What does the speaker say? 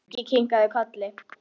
Siggi kinkaði kolli.